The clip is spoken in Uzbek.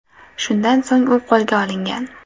Shundan so‘ng u qo‘lga olingan.